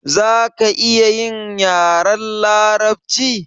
Zaka iya yin yaren larabci?